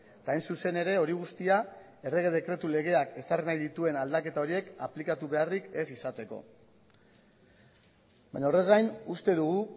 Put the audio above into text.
eta hain zuzen ere hori guztia errege dekretu legeak ezarri nahi dituen aldaketa horiek aplikatu beharrik ez izateko baina horrez gain uste dugu